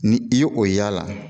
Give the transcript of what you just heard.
Ni i ye o y'a la